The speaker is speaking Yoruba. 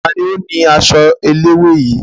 Ta ni ó ni aṣọ eléwé yìí?